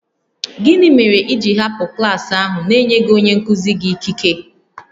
Gịnị mere i ji hapụ klas ahụ n'enyeghị onye nkụzi gị ikike?